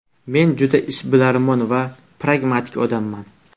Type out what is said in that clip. Men juda ishbilarmon va pragmatik odamman.